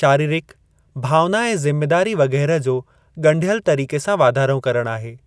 शारीरिक, भावना ऐं ज़िमेदारी वग़ैरह जो ॻड़ियल तरीक़े सां वाधारो करणु आहे।